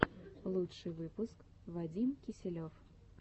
лучший выпуск вадим киселев